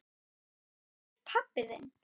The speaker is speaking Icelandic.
Hvar er pabbi þinn?